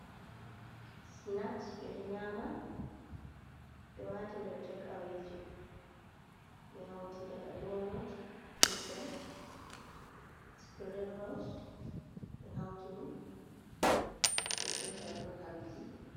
Flask ɓeɗo nyama ɓe wati nder tek awe ji, be hauti daga ɗo not, kusel, spring ros, ɓe hauti ɗum ɓe sendan on ha biki.